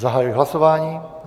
Zahajuji hlasování.